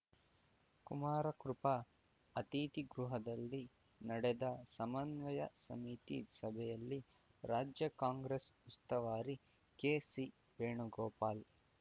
ಕುಮಾರ ಕೃಪಾ ಅತಿಥಿ ಗೃಹದಲ್ಲಿ ನಡೆದ ಸಮನ್ವಯ ಸಮಿತಿ ಸಭೆಯಲ್ಲಿ ರಾಜ್ಯ ಕಾಂಗ್ರೆಸ್ ಉಸ್ತುವಾರಿ ಕೆಸಿ ವೇಣು ಗೋಪಾಲ್